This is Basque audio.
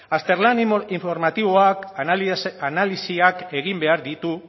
azterlan informatiboak analisiak egin behar ditu